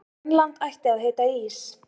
Grænland ætti að heita Ís